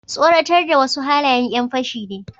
tsoratar da wasu halayen yan fashi ne